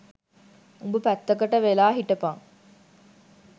උඹ පැත්තකට වෙලා හිටපන්